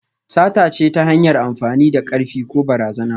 Sata ce ta hanyar amfani da karfi ko barazana.